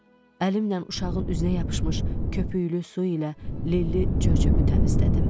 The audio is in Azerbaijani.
Əlimlə uşağın üzünə yapışmış köpüklü su ilə lilli çöp-çöpü təmizlədim.